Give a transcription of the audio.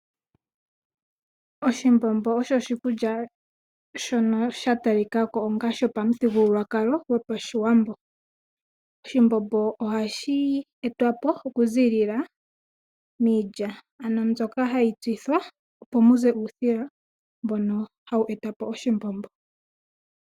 Oshimbombo osho oshikulya shono sha ta li kwa ko onga sho pa muthigululwakalo gwopashiwambo. Oshimbombo oha shi etwapo okuziilila miilya, ano mbyoka ha yi tsithwa opo muze uusila mbono ha wu etapo oshimbombo.